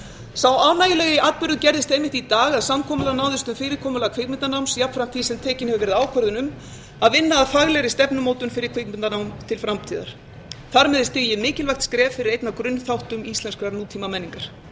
sá ánægjulegi atburður gerðist einmitt í dag að samkomulag náðist um fyrirkomulag kvikmyndanáms jafnframt því sem tekin hefur verið ákvörðun um að vinna að faglegri stefnumótun fyrir kvikmyndanám til framtíðar þar með er stigið mikilvægt skref fyrir einn af grunnþáttum íslenskrar nútímamenningar